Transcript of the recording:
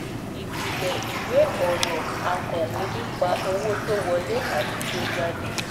Ìpìlẹ̀ ìwé ọ̀rọ̀ akọ̀wé nipa owó tó wọlé àti tó jáde